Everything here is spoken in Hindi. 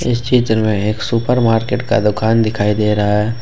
इस चित्र में एक सुपर मार्केट का दुकान दिखाई दे रहा है।